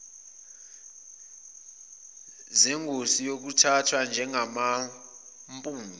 zengosi eziyothathwa njengamampunge